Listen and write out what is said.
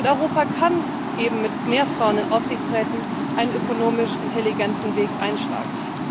Europa kann mit mehr Frauen in Aufsichtsräten einen ökonomisch intelligenten Weg einschlagen.